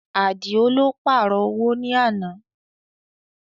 Àdìó lọ pààrọ̀ owó ní àná